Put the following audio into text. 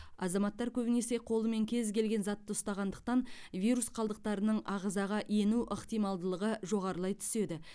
азаматтар көбінесе қолымен кез келген затты ұстағандықтан вирус қалдықтарының ағзаға ену ықтималдығы жоғарылай түседі